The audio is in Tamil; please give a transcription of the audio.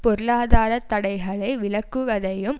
பொருளாதார தடைகளை விலக்குவதையும்